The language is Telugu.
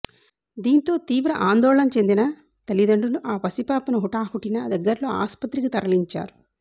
దీంతో తీవ్ర ఆందోళన చెందిన తలిదండ్రులు ఆ పసిపాపను హుటాహుటిన దగ్గర్లో ఆసుపత్రికి తరలించారు